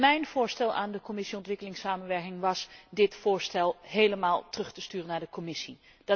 Mijn voorstel aan de Commissie ontwikkelingssamenwerking was dit voorstel in zijn geheel terug te sturen naar de Commissie.